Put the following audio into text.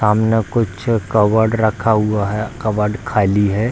सामने कुछ कवर्ड रखा हुआ है कवर्ड खाली है।